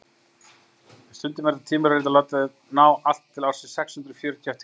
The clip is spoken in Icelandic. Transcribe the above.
stundum er þetta tímabil reyndar látið ná allt til ársins sex hundruð fjörutíu eftir krist